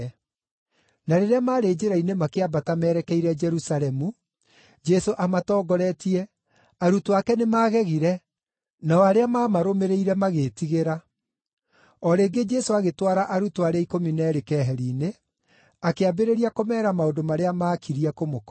Na rĩrĩa maarĩ njĩra-inĩ makĩambata merekeire Jerusalemu, Jesũ amatongoretie, arutwo ake nĩmagegire, nao arĩa maamarũmĩrĩire magĩĩtigĩra. O rĩngĩ Jesũ agĩtwara arutwo arĩa ikũmi na eerĩ keheri-inĩ, akĩambĩrĩria kũmeera maũndũ marĩa maakirie kũmũkora.